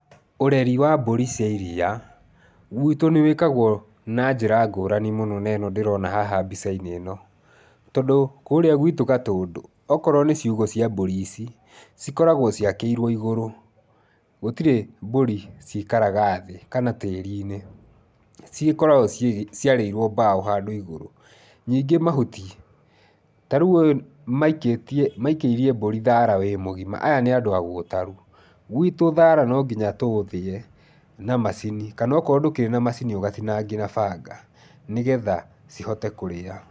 Ũreri wa mbũri cia iria gwitũ nĩ gwĩkagwo na njĩra ngũrani mũno na ĩno ndĩrona haha mbica-inĩ ĩno. Tondũ kũrĩa gwitũ Gatũndũ, okorwo nĩ ciugũ cia mburi ici, cikoragwo ciakĩirwo igũrũ. Gũtirĩ mbũri ciikaraga thĩ kana tĩĩri-inĩ, cigĩkoragwo ciarĩirwo mbaũ handũ igũrũ. Nyingĩ mahuti, ta rĩu ũyũ maikĩtie, maikĩirie mbũri thaara wĩ mũgima, aya nĩ andũ agũtaru. Gwitũ thaara no nginya tũũthĩe na macini kana okorwo ndũkĩrĩ na macini, ũgatinangia na banga nĩgetha cihote kũrĩa.